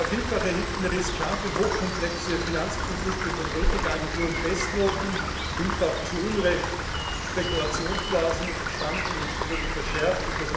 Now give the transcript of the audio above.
Vielfach erhielten riskante und hochkomplexe Finanzprodukte von Ratingagenturen Bestnoten, vielfach zu Unrecht. Spekulationsblasen entstanden und wurden verschärft.